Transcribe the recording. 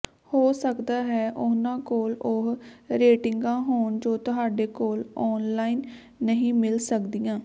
ਹੋ ਸਕਦਾ ਹੈ ਉਹਨਾਂ ਕੋਲ ਉਹ ਰੇਟਿੰਗਾਂ ਹੋਣ ਜੋ ਤੁਹਾਡੇ ਕੋਲ ਔਨਲਾਈਨ ਨਹੀਂ ਮਿਲ ਸਕਦੀਆਂ